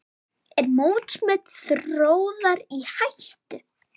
Er mótsmet Þórðar í hættu?